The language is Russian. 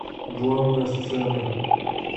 главная сцена